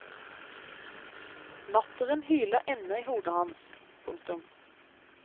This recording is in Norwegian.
Latteren hyler ennå i hodet hans. punktum